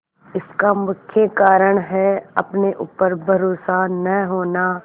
इसका मुख्य कारण है अपने ऊपर भरोसा न होना